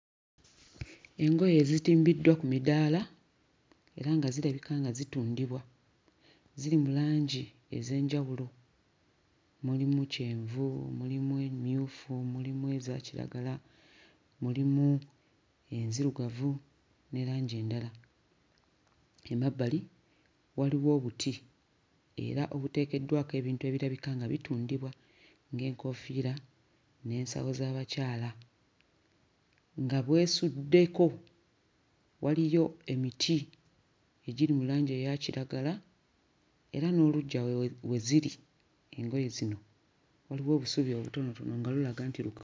Engoye ezitimbiddwa ku midaala era nga zirabika nga zitundibwa. Ziri mu langi ez'enjawulo; mulimu kyenvu, mulimu emmyufu, mulimu eza kiragala, mulimu enzirugavu ne langi endala. Emabbali waliwo obuti era obuteekeddwako ebintu ebirabika nga bitundibwa, ng'enkoofiira n'ensawo z'abakyala nga bwesuddeko. Waliyo emiti egiri mu langi eya kiragala era n'oluggya we we ziri engoye zino waliwo obusubi obutonotono nga lulaga nti luka....